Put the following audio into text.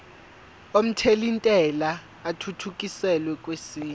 omthelintela athuthukiselwa kwesinye